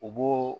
U b'o